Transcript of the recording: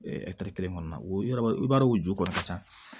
kelen kɔnɔna na o yɔrɔ i b'a dɔn o jukɔrɔ ka ca